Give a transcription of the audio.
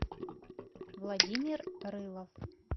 владимир рылов